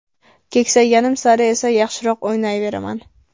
Keksayganim sari esa yaxshiroq o‘ynayveraman.